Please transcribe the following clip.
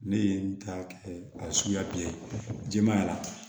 Ne ye n ta kɛ a ye suguya bɛɛ jɛmanya